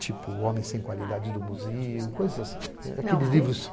Tipo, Homem Sem Qualidade do Museu, coisas assim.